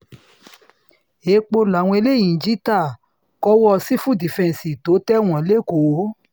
epo làwọn eléyìí ń jì ta kọ́wọ́ sífù fífẹ́ǹsì tóo tẹ̀ wọ́n lẹ́kọ̀ọ́